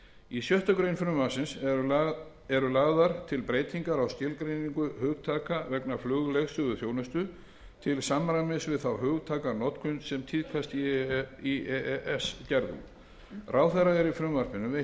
í sjöttu greinar frumvarpsins eru lagðar eru til breytingar á skilgreiningu hugtaka vegna flugleiðsöguþjónustu til samræmis við þá hugtakanotkun sem tíðkast í e e s gerðum ráðherra er í frumvarpinu veitt